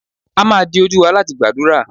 a ma dí ojú wa latí gbadurá